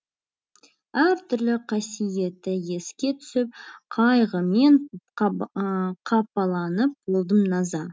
әр түрлі қасиеті еске түсіп қайғымен қапаланып болдым наза